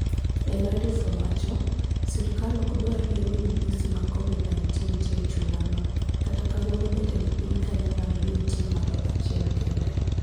"El-Arif owacho" serkal ok dwar yie ni midhusi mag kovid 19 nitie e chulano, kata kawuono jatend piny kaneolando ni nitie ng'ato achiel kende.